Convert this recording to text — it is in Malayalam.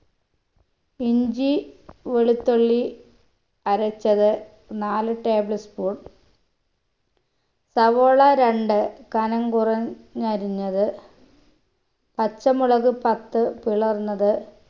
ഇഞ്ചി വെളുത്തുള്ളി അരച്ചത് നാല് table spoon സവോള രണ്ട് കനം കുറഞ്ഞരിഞ്ഞത് പച്ചമുളക് പത്ത് പിളർന്നത്